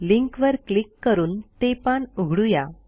लिंकवर क्लिक करून ते पान उघडू या